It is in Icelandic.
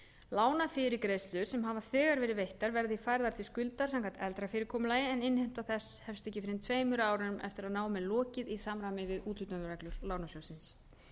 lánafyrirgreiðslur sem hafa þegar verið veittar verða því færðar til skuldar samkvæmt eldra fyrirkomulagi en innheimta þess hefst ekki fyrr en tveimur árum eftir að námi er lokið í samræmi við úthlutunarreglur lánasjóðsins